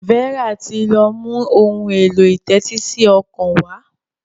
Vera tí lọ mú Ohun èlò ìtẹ́tísí ọkàn wá.